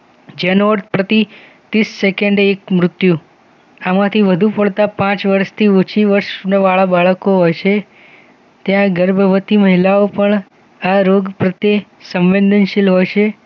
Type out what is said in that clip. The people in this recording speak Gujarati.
જેનો અર્થ પ્રતિ તીસ સેકન્ડ એક મૃત્યુ આમાંથી વધુ પડતા પાંચ વર્ષથી ઓછી વર્ષના વાળા બાળકો હોય છે ત્યાં ગર્ભવતી મહિલાઓ પણ આ રોગ પ્રત્યે સંવેદનશીલ હશે